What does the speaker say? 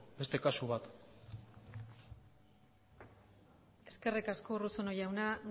beste kasu bat eskerrik asko urruzuno jauna